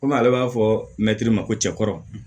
Komi ale b'a fɔ mɛtiri ma ko cɛkɔrɔ